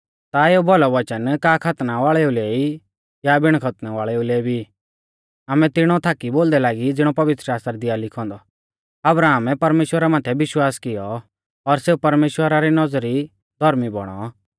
ता एऊ भौलौ वचन का खतना वाल़ेऊ लै ई या बिण खतना वाल़ेउ लै भी आमै तिणौ थाकी बोलदै लागी ज़िणौ पवित्रशास्त्रा दी आ लिखौ औन्दौ अब्राहमै परमेश्‍वरा माथै विश्वास किऔ और सेऊ परमेश्‍वरा री नौज़री धौर्मी बौणौ